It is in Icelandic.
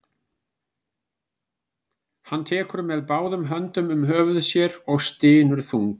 Hann tekur með báðum höndum um höfuð sér og stynur þungan.